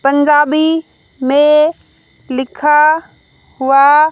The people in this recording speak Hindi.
पंजाबी में लिखा हुआ --